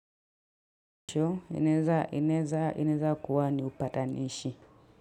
Inaeza kuwa ni upatanishi.